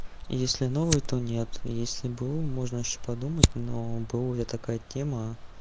если новый то нет если б у можно ещё подумать но б у это такая тема